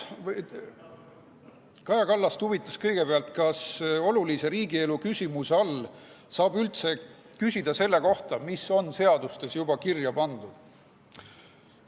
Kaja Kallast huvitas kõigepealt, kas olulise riigielu küsimuse all saab üldse küsida selle kohta, mis on seadustes juba kirja pandud.